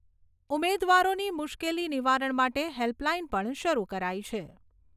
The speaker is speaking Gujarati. ઉમેવારોની મુશ્કેલી નિવારણ માટે હેલ્પ લાઇન પણ શરુ કરાઈ છે.